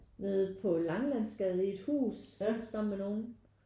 Nede på Langelandsgade i et hus sammen med nogen